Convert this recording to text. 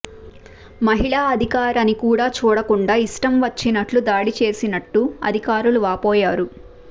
మహిళా అధికారి అని కూడా చూడకుండా ఇష్టం వచ్చినట్లు దాడిచేసినట్టు అధికారులు వాపోయారు